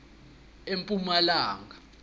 epumalanga